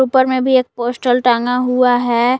उपर में भी एक पोस्टल टांगा हुआ है।